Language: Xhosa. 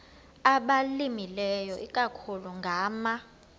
abalimileyo ikakhulu ngama